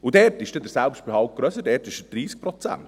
Dort ist der Selbstbehalt grösser, dort beträgt er 30 Prozent.